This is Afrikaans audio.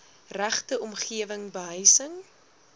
regte omgewing behuising